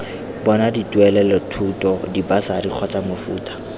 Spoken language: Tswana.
bona dituelelothuto dibasari kgotsa mofuta